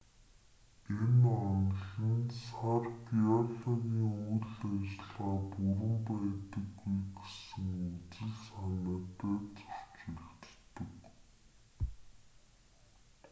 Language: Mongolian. энэ онол нь сар геологийн үйл ажиллагаа бүрэн байдаггүй гэсэн үзэл санаатай зөрчилддөг